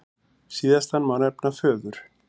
Síðastan má nefna föður